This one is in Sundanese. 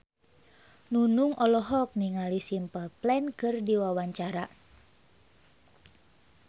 Nunung olohok ningali Simple Plan keur diwawancara